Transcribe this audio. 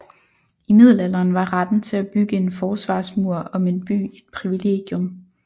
I middelalderen var retten til at bygge en forsvarsmur om en by et privilegium